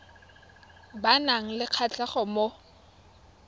ba nang le kgatlhego mo